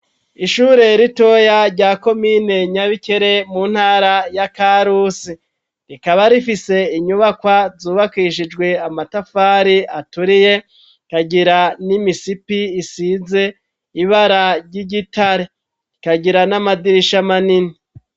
Ishure ritoya rya komine nyabikere mu ntara ya karusi, rikaba rifise inyubakwa zubakishijwe amatafari aturiye rikagira n'imisipi isize ibara ry'igitare rikagira n'amadirisha manini.